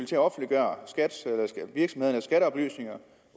til at offentliggøre virksomhedernes skatteoplysninger